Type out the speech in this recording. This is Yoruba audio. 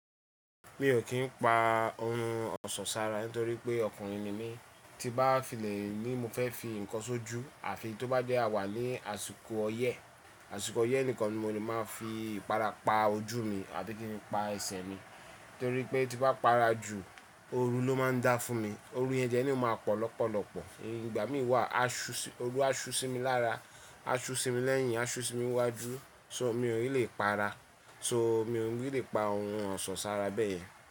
Mi ò kí ń pa ohun ọ̀ṣọ́ sára nítorí pé ọkùnrin ni mí. Tí bá fìlẹ̀ ni mo fẹ́ fi ǹkan ṣojú àfi tó bá jẹ́ àwà ní àsìkò ọyẹ́, àsìkò ọyẹ́ nìkan ni mo lè máa fi ìpara pa ojú mi àti kí n pa ẹsẹ̀ mi. Nítorí pé tí bá para ju òru ló máa ń dá fún mi. Òru yẹn de lele o máa pọ̀ lọ́pọ̀lọ́pọ̀ fun. Ìgbà mí wà asú si, oru asu sí mi lára, aṣú sí mi lẹ́yìn, aṣú sí mi wájú so mi ò ni lè para, so mi ò ni lè pa ohun ọ̀ṣọ́ sára bẹ́yẹn.